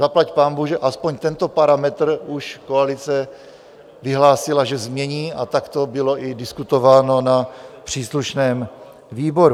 Zaplať pánbůh, že aspoň tento parametr už koalice vyhlásila, že změní, a tak to bylo i diskutováno na příslušném výboru.